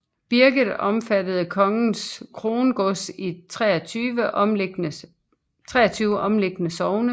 Birket omfattede kongens krongods i 23 omliggende sogne